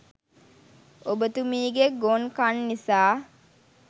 ඔබතුමීගෙ ගොන් කන් නිසා